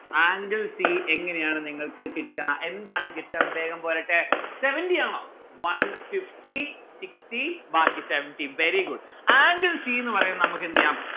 angle c എങ്ങനെയാണ് നിങ്ങൾക്ക് കിട്ടാ എന്താണ് കിട്ട വേഗം പോരട്ടെ seventy ആണോ one fifty sixty ബാക്കി seventy. very good. angle c ന്ന്‌ പറയാൻ നമ്മുക്ക് എന്തെയ്യാം